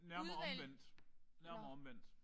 Nærmere omvendt. Nærmere omvendt